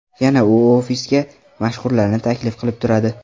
Yana u ofisga mashhurlarni taklif qilib turadi.